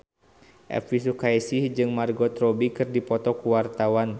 Elvy Sukaesih jeung Margot Robbie keur dipoto ku wartawan